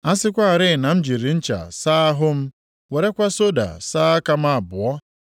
A sịkwarị na m jiri ncha saa ahụ m werekwa soda saa aka m abụọ,